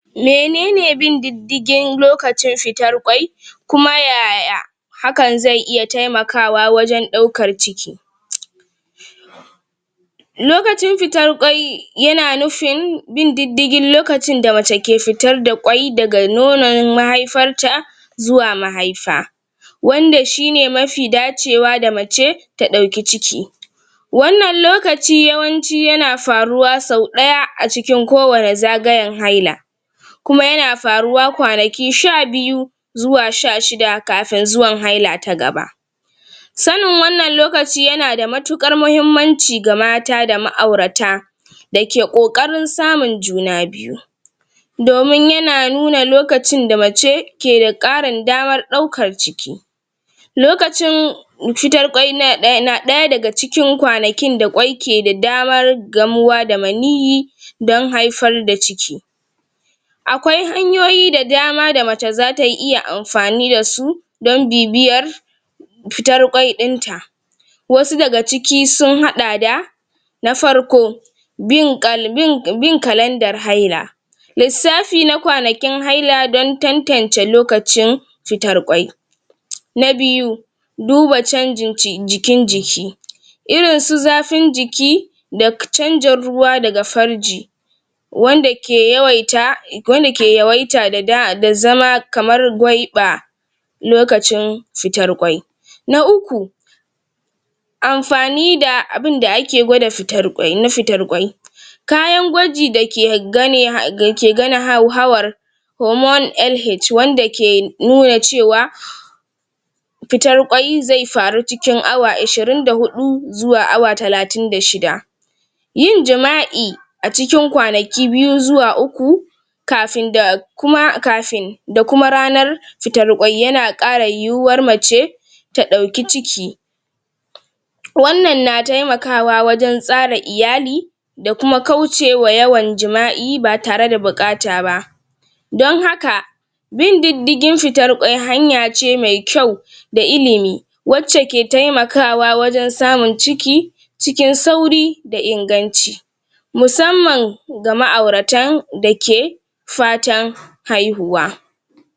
Menene bin didigin lokacin fitar kwai kuma yaya hakan ze iya taimakawa wajan ɗaukar ciki lokacin fitar kwai yana nufin bin didigin lokacin da mace ke fitar da kwai daga nonon mahaifar ta zuwa mahaifa wanda shine mafi dacewa da mace ta ɗauki ciki wannan lokaci yawanci yana faruwa sau ɗaya a cikin ko wane zagayan haila kuma yana faruwa kwanaki sha biyu zuwa sha shida kafin zuwan haila ta gaba sanin wannan lokaci yana da mutukar muhimmanci ga mata da ma'aurata da ke ƙokarin samun juna biyu domin yana nuna lokacin da mace keda ƙarin damar daukar ciki lokacin fitar kwai na ɗaya daga cikin kwanakin da kwai ke da damar gamuwa da maniyi dan haifar da ciki akwai hanyoyi da dama da mace zata iya amfani da su don bibiyar fitar kwai ɗin ta wasu daga ciki sun haɗa da na farko bin bin kalandar haila lissafi na kwanakin haila don tantance lokacin fitar kwai na biyu duba canjin jikin jiki irin su zafin jiki da canjin ruwa daga farji wanda ke yawaita, wanda ke yawaita da zama kamar gwaiɓa lokacin fitar kwai na uku amfani da abinda ake gwada fitar kwai na fitar kwai kayan gwaji dake gannin hawar hormone LH wanda ke nuna cewa fitar kwai ze faru cikin awa ashirin da huɗu zuwa awa talatin da shida yin jima'i a cikin kwanaki biyu zuwa uku kafin da kuma kafin da kuma ranar fitar kwai yana kara yuwar mace ta ɗauki ciki wannan na taimakawa wajan tsara iyali da kuma kauce ma yawan jima'i ba tare da bukata ba don haka bin didigin fitar kwai hanya ce mai kyau da ilimi wacca ke taimakawa wajan samun ciki cikin sauri da inganci musamman ga ma'auratan da ke fatan haihuwa.